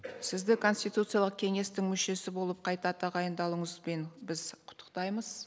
сізді конституциялық кеңестің мүшесі болып қайта тағайындалуыңызбен біз құттықтаймыз